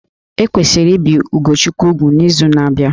E kwesịrị ibi Ugochukwu úgwù n'izu na-abịa